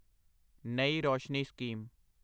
ਨਈ ਰੋਸ਼ਨੀ ਸਕੀਮ